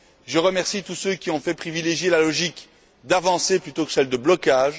Je remercie tous ceux qui ont privilégié la logique de l'avancée plutôt que celle de blocage.